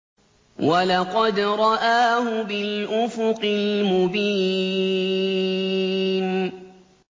وَلَقَدْ رَآهُ بِالْأُفُقِ الْمُبِينِ